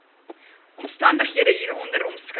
omstandighede hieronder omskryf